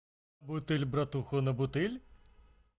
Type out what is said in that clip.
бутыль братуха на бутыль